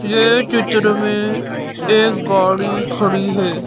ये चित्र में एक गाड़ी खड़ी है।